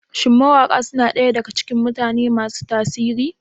Shin mawaƙa suna ɗaya daga cikin mutane masu tasiri?